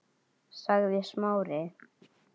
sagði Smári.